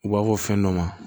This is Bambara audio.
U b'a fɔ fɛn dɔ ma